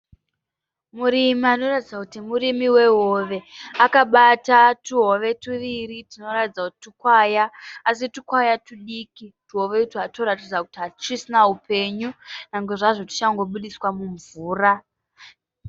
Murimi anoratidza kuti murimi wehove. Akabata tuhove tuviri tunoratidza kuti tukwaya asi tukwaya tudiki. Tuhove itwu twunoratidza kuti hatusisina upenyu nyangwe zvazvo twuchangobudiswa mumvura.